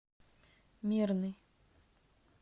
мирный